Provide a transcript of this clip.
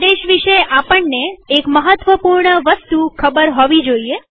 આદેશ વિષે આપણને એક મહત્વપૂર્ણ વસ્તુ ખબર હોવી જરૂરી છે